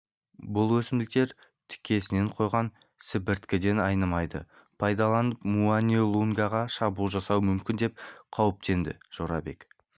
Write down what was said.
бұл өсімдіктер тікесінен қойған сібірткіден айнымайды пайдаланып муани-лунгаға шабуыл жасауы мүмкін деп қауіптенді жорабек